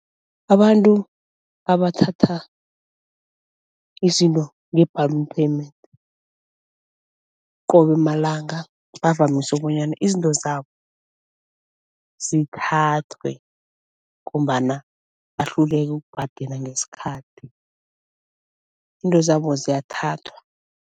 Abantu abathatha izinto nge-balloon payment qobe malanga bavamise bonyana izinto zabo zithathwe ngombana bahluleka ukubhadela ngesikhathi, into zabo ziyathathwa.